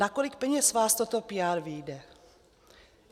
Na kolik peněz vás toto PR vyjde?